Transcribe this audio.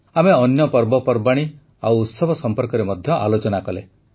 ଆମେ ଅନ୍ୟ ପର୍ବପର୍ବାଣୀ ଓ ଉତ୍ସବ ସମ୍ପର୍କରେ ମଧ୍ୟ ଆଲୋଚନା କଲେ